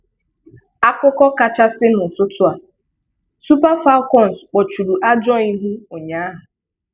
Akụkọ kachàsị n’ụ́tụtụ a:Super Falcons kpọ̀chùrù ajọ̀ ihu ụ̀nyàhụ.